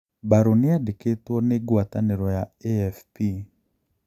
Barrow niandikitwo ni guataniro ya AFP.